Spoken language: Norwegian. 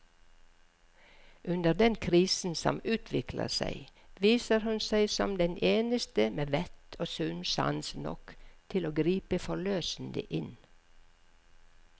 Under den krisen som utvikler seg, viser hun seg som den eneste med vett og sunn sans nok til å gripe forløsende inn.